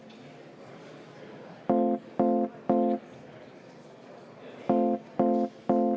Vaheaeg 10 minutit.